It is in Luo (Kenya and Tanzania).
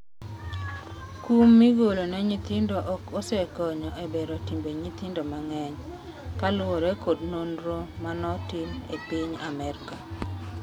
kum migolo ne nyithindo ok osekonyo e bero timbe nyithindo mang'eny, kaluwore kod nonro manotim e piny Amerka